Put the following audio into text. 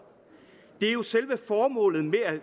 det er jo selve formålet med at